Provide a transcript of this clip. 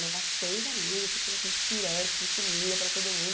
Levar seis amigas, tem que fazer aqueles pirex de comida para todo